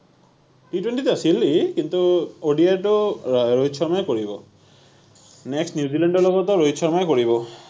T -Twenty ত আছিল সি কিন্তু ODI টো ৰোহিত শৰ্মাই কৰিব next নিউজিলেণ্ডৰ লগতো ৰোহিত শৰ্মাই কৰিব।